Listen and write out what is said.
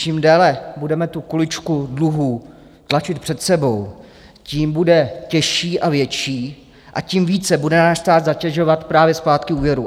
Čím déle budeme tu kuličku dluhů tlačit před sebou, tím bude těžší a větší a tím více bude náš stát zatěžovat právě splátky úvěrů.